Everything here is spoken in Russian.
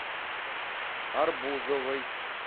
арбузовой